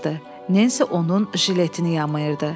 Nensi onun jiletini yamayırdı.